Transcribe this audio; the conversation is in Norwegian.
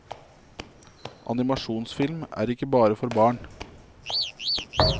Animasjonsfilm er ikke bare for barn.